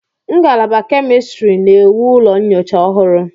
Ngalaba Chemistry na-ewu ụlọ nyocha ọhụrụ.